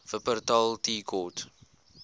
wupperthal tea court